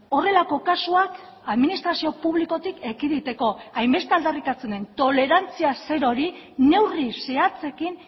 horrelako kasuak administrazio publikotik ekiditeko hainbeste aldarrikatzen den tolerantzia zerori neurri zehatzekin